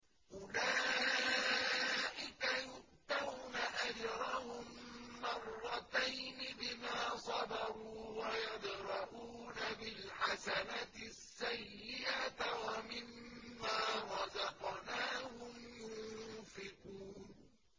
أُولَٰئِكَ يُؤْتَوْنَ أَجْرَهُم مَّرَّتَيْنِ بِمَا صَبَرُوا وَيَدْرَءُونَ بِالْحَسَنَةِ السَّيِّئَةَ وَمِمَّا رَزَقْنَاهُمْ يُنفِقُونَ